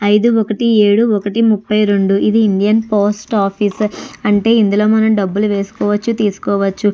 ఐదు ఒకటి ఏడూ ఒకటి ముప్పై రెండు ఇది ఇండియన్ పోస్ట్ ఆఫీస్ . అంటే ఇందులో మనం డబ్బులు వేసుకోవచ్చు తీసుకోవచ్చు.